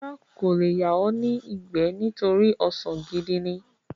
Rárá, kò le yà ọ́ ní ìgbẹ́ nítorí ọsàn gidi ní.